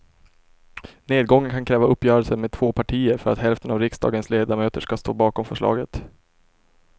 Nedgången kan kräva uppgörelser med två partier för att hälften av riksdagens ledamöter ska stå bakom förslaget.